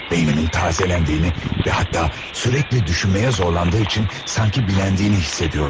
Beynimin tazelendiğini və hətta sürekli düşünməyə zorlandığı üçün sanki biləndiyini hiss ediyordum.